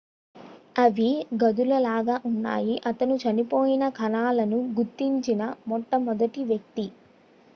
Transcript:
అవి గదులలాగా ఉన్నాయి అతను చనిపోయిన కణాలను గుర్తించిన మొట్ట మొదటి వ్యక్తి